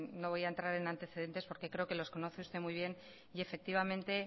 no voy a entrar en antecedentes porque creo que los conoce usted muy bien y efectivamente